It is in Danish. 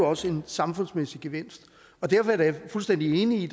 også en samfundsmæssig gevinst og derfor er jeg da fuldstændig enig i